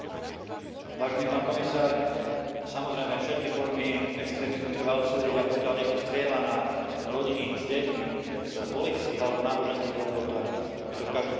Pán komisár, samozrejme, všetky formy extrémizmu treba odsúdiť, a pokiaľ niekto strieľa na rodiny s deťmi z politických alebo náboženských dôvodov, tak je to v každom prípade šialenec.